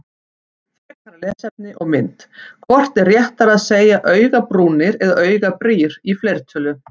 Frekara lesefni og mynd Hvort er réttara að segja augabrúnir eða augabrýr í fleirtölu?